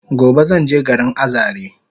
Gobe zanje garin Azare